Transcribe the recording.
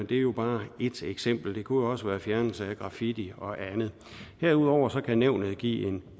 det er jo bare et eksempel det kunne også være fjernelse af graffiti og andet herudover kan nævnet give